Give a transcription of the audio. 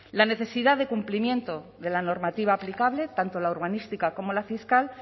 la necesidad de cumplimiento de la normativa aplicable tanto la urbanística como la fiscal